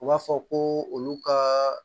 U b'a fɔ ko olu ka